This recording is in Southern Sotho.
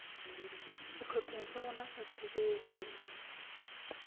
sehlopheng sa rona sa tshebetso